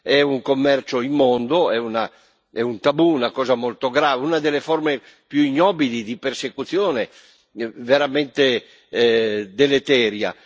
È un commercio immondo, è un tabù, una cosa molto grave, una delle forme più ignobili di persecuzione veramente deleteria.